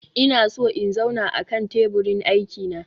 Ina so in zauna akan teburin aiki na